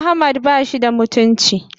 Ahmad bashi da mutunci.